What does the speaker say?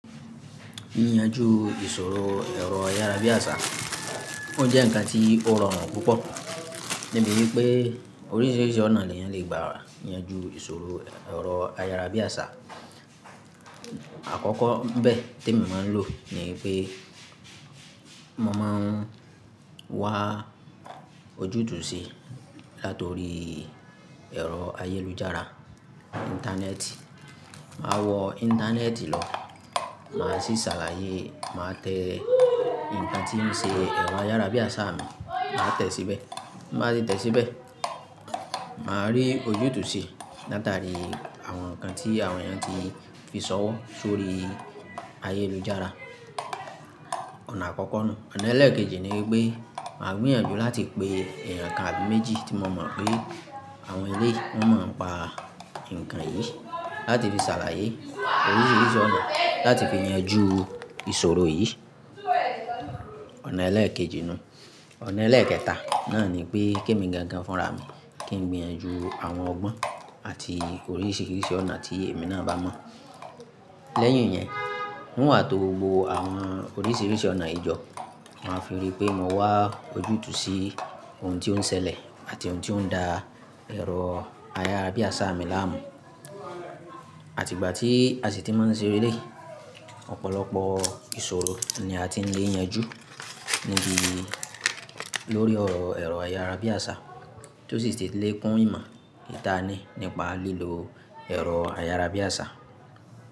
Yíyanjú ìṣòro ẹ̀rọ ayárabíàṣá, ó jẹ́ ǹkan tí ó rọrùn púpọ̀. Toripẹ́ oríṣìíríṣìí ọ̀nà ni èèyàn lè gbà yanjú ìṣòro ẹ̀rọ ayárabíàṣá. Àkọ́kọ́ nibẹ́ tí emi máa ń lò ní pé mo máa ń wá ojútùú sí i látọrí ẹ̀rọ ayélujára, Íńtánẹ́ẹ̀tì. Màá wọ Íńtánẹ́ẹ̀tì lọ, màá sì sàlàyé, màá tẹ ǹkan tí ń ṣe ẹ̀rọ ayárabíàṣá mi, màá tẹ̀ síbẹ̀. Máà tí tẹ̀ síbẹ̀, màá rí ojútùú sí i látàrí àwọn ǹkan tí àwọn èèyàn ti fi ṣọwọ́ sórí ayélujára. Ọ̀nà àkọ́kọ́ nuu. Ọ̀nà ẹlẹ́ẹ̀kejì ni pé màá gbìyànjú láti pe ẹ̀eyàn kan àbí méjì tí mo mọ̀ pé àwọn eléyii wọ́n mo ń pa ǹkan yìí láti fi ṣàlàyé oríṣìíríṣìí ọ̀nà láti fi yanjú ìṣòro yìí. Ọ̀nà ẹlẹ́ẹ̀kejì nuu. Ọ̀nà ẹlẹ́ẹ̀kẹta náà ni pé kí èmi gangan fúnra mi kí n gbìyànjú àwọn ọgbọ́n àti oríṣìíríṣìí ọ̀nà tí èmi náà bá mọ̀. Lẹ́yìn yẹn, n wàà tó gbò àwọn oríṣìíríṣìí ọ̀nà ìjọ, màá fi rí pé mo wá ojútùú sí ohun tí ó ń ṣẹlẹ̀ àti ohun tí ó ń da ẹ̀rọ ayárabíàṣá mi láàmú. Máà tí tẹ̀ síbẹ̀, màá rí ojútùú sí i látàrí àwọn ǹkan tí àwọn èèyàn ti fi ṣọwọ́ sórí ayélujára.